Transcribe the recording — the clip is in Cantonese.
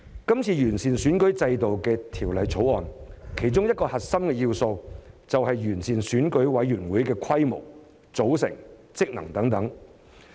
這次完善選舉制度的《條例草案》，其中一個核心要素，就是完善選委會的規模、組成、職能等。